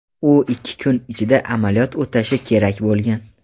U ikki kun ichida amaliyot o‘tashi kerak bo‘lgan.